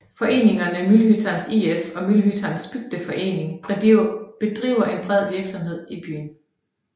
Foreningerne Mullhyttans IF og Mullhyttans bygdeförening bedriver en bred virksomhed i byen